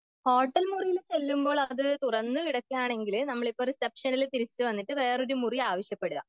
hotel മുറിയിൽ ചെല്ലുമ്പോൾ അത് തുറന്നു കിടക്കാണെങ്കിൽ നമ്മളിപ്പോ റിസപ്ഷനിൽ തിരിച്ചു വന്നിട്ട് വേറെ ഒരു മുറി ആവശ്യപ്പെടുക